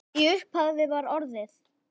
Í upphafi var orðið